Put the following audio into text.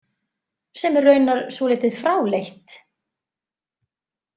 Sem er raunar svolítið fráleitt.